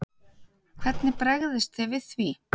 Hvernig bregðist þið við því?